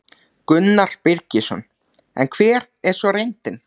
Gunnar Birgisson: En hver er svo reyndin?